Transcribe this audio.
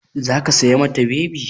Za ki saya ma ta bebi?